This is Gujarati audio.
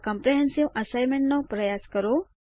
આ કમ્પ્રેહેન્સીવ અસાઇનમેન્ટ કરવાનો પ્રયાસ કરો